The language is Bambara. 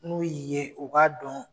N'u y'i ye u b'a dɔn